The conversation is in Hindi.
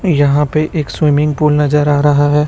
यहां पे एक स्विमिंग पूल नजर आ रहा है।